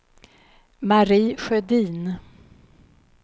Mari Sjödin